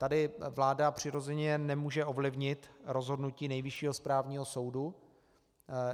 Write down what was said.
Tady vláda přirozeně nemůže ovlivnit rozhodnutí Nejvyššího správního soudu.